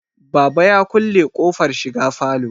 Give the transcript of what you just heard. baba ya kulle ƙofar shiga falo